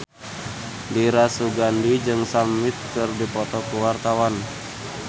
Dira Sugandi jeung Sam Smith keur dipoto ku wartawan